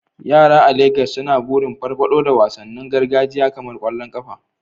Yara a Legas suna burin farfado da wasannin gargajiya kamar kwallon kafa.